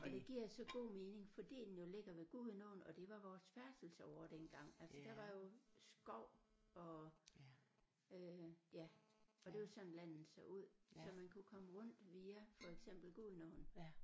Og det giver så god mening fordi den jo ligger ved Gudenåen og det var vores færdselsåre dengang altså der var jo skov og øh ja og der var sådan landet så ud så man kunne komme rundt via for eksempel Gudenåen